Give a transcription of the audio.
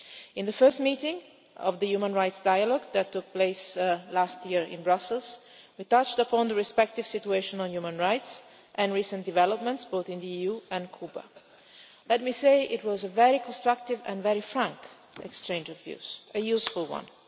In the first meeting of the human rights dialogue, which took place last year in Brussels, we touched upon the respective situation of human rights and recent developments, both in the EU and Cuba. Let me say that it was a very constructive and very frank exchange of views, and a useful